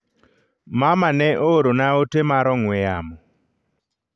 mama ne oorona ote mar ong'we yamo